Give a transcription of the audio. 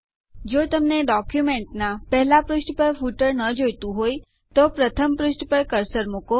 જો તમને ડોક્યુંમેન્ટના પહેલા પુષ્ઠ પર ફૂટર ન જોઈતું હોય તો પહેલા પ્રથમ પુષ્ઠ પર કર્સર મુકો